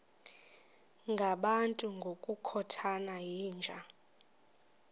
ngabantu ngokukhothana yinja